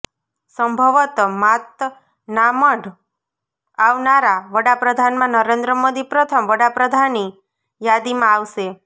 સંભવત માતનામઢ આવનારા વડાપ્રધાનમાં નરેન્દ્ર મોદી પ્રથમ વડાપ્રધાની યાદીમાં આવશે